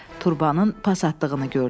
Turbonun pas atdığını gördüm.